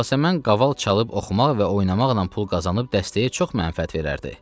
Yasəmən qaval çalıb oxumaq və oynamaqla pul qazanıb dəstəyə çox mənfəət verərdi.